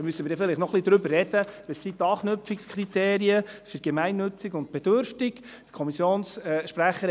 Da müssen wir dann vielleicht noch ein wenig darüber sprechen, welches die Anknüpfungspunkte für «gemeinnützig» und «bedürftig» sind.